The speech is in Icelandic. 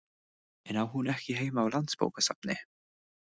En á hún ekki heima á Landsbókasafni?